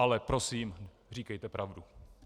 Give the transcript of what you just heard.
Ale prosím, říkejte pravdu!